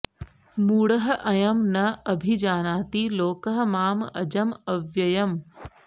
मूढः अयम् न अभिजानाति लोकः माम् अजम् अव्ययम्